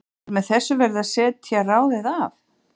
Er með þessu verið að setja ráðið af?